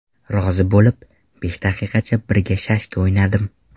Rozi bo‘lib, besh daqiqacha birga shashka o‘ynadim.